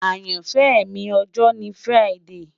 Ayanfẹ mi ọjọ ni Friday